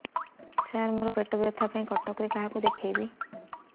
ସାର ମୋ ର ପେଟ ବ୍ୟଥା ପାଇଁ କଟକରେ କାହାକୁ ଦେଖେଇବି